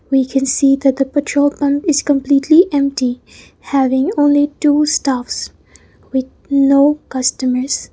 we can see that the petrol pump is completely empty having only two staff with no customers.